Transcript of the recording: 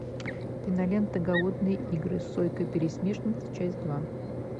кинолента голодные игры сойка пересмешница часть два